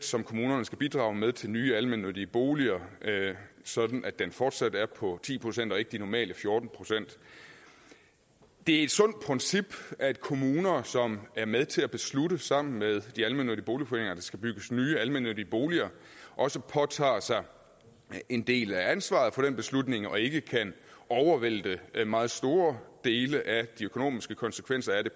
som kommunerne skal bidrage med til nye almennyttige boliger sådan at den fortsat er på ti procent og ikke de normale fjorten procent det er et sundt princip at kommuner som er med til at beslutte sammen med de almennyttige boligforeninger at der skal bygges nye almennyttige boliger også påtager sig en del af ansvaret for den beslutning og ikke kan vælte meget store dele af de økonomiske konsekvenser af det